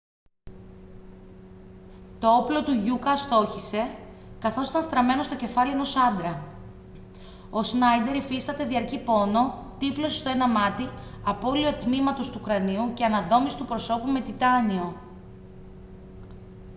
το όπλο του γιούκα αστόχησε καθώς ήταν στραμμένο στο κεφάλι ενός άντρα ο σνάιντερ υφίσταται διαρκή πόνο τύφλωση στο ένα μάτι απώλεια τμήματος του κρανίου και αναδόμηση του προσώπου με τιτάνιο